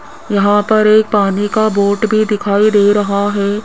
यहां पर एक पानी का बोट भी दिखाई दे रहा है।